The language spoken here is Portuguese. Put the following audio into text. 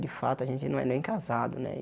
De fato, a gente não é nem casado, né?